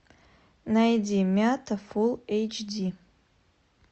найди мята фулл эйч ди